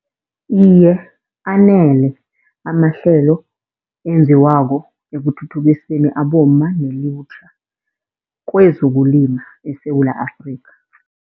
Iye, anele amahlelo enziwako ekuthuthukiseni abomma nelutjha kwezokulima eSewula Afrikha.